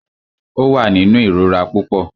Ó wà nínú ìrora púpọ.